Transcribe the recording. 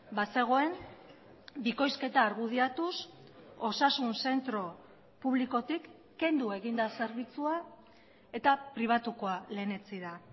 bazegoen bikoizketa argudiatuz osasun zentro publikotik kendu egin da zerbitzua eta pribatukoa lehenetsi da